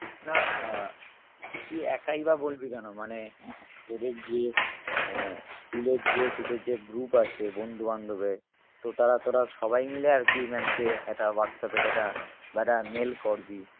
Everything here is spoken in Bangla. না আহ তুই একাইবা বলবি কেন মানে তোদের যে আহ school এর যে তোদের যে group আছে বন্ধু বান্ধবের তো তাঁরা তোরা সবাই মিলে আরকি maam কে একা হোয়াটসঅ্যাপে যেটা বা একটা mail কর